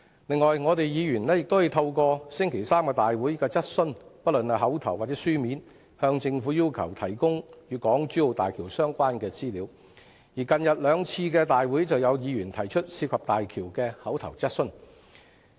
此外，議員亦可以透過立法會會議的質詢——不論是口頭或書面——向政府要求提供港珠澳大橋工程的相關資料，而最近兩次立法會會議上亦有議員提出有關大橋工程的口頭質詢。